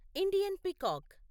Indian peacock